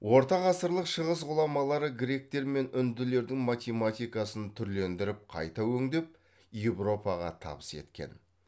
орта ғасырлық шығыс ғұламалары гректер мен үнділердің математикасын түрлендіріп қайта өңдеп еуропаға табыс еткен